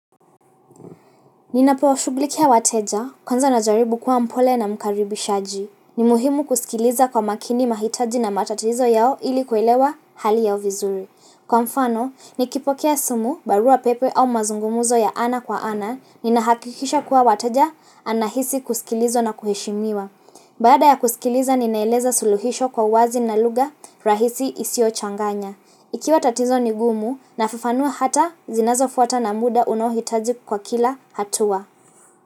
Ninapo shugulikia wateja kwanza na jaribu kuwa mpole na mkaribi shaji. Ni muhimu kusikiliza kwa makini mahitaji na matatizo yao ili kuelewa hali yao vizuri. Kwa mfano, nikipokea simu, barua pepe au mazungumuzo ya ana kwa ana, ninahakikisha kuwa wateja anahisi kusikilizwa na kuheshimiwa. Baada ya kusikiliza ninaeleza suluhisho kwa wazi na luga rahisi isiyo changanya. Ikiwa tatizo nigumu nafufanua hata zinazo fuata na muda unohitaji kwa kila hatua.